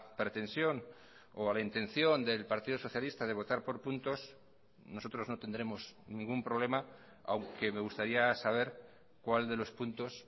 pretensión o a la intención del partido socialista de votar por puntos nosotros no tendremos ningún problema aunque me gustaría saber cuál de los puntos